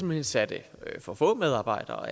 man satte for få medarbejdere